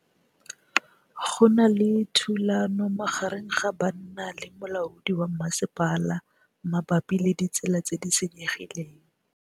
Go na le thulanô magareng ga banna le molaodi wa masepala mabapi le ditsela tse di senyegileng.